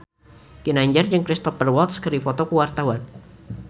Ginanjar jeung Cristhoper Waltz keur dipoto ku wartawan